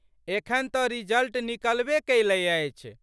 एखन तऽ रिजल्ट निकलबे कयलै अछि।